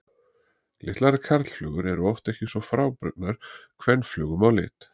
Litlar karlflugur eru oft ekki svo frábrugðnar kvenflugum á lit.